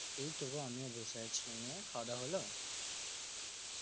এই তো গো আমিও বসে আছি নিয়ে খাওয়া দাওয়া হলো